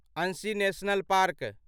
Anshi National park